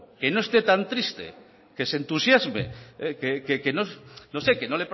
que no esté tan triste que se entusiasme no sé que no